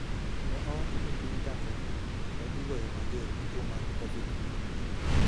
ne owacho ni piny Tanzania pod igoyo mager gi tuo mar Covid-19.